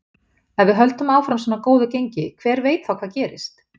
Ef við höldum áfram svona góðu gengi, hver veit þá hvað gerist?